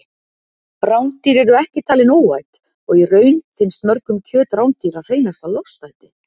Rándýr eru ekki talin óæt og í raun finnst mörgum kjöt rándýra hreinasta lostæti.